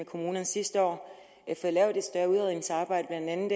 kommunerne sidste år fået lavet et større udredningsarbejde blandt andet